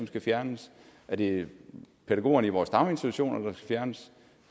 skal fjernes er det pædagogerne i vores daginstitutioner der skal fjernes